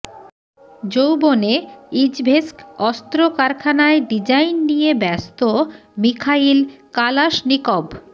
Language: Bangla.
যৌবনে ইজভেস্ক অস্ত্র কারখানায় ডিজাইন নিয়ে ব্যস্ত মিখাইল কালাশনিকভ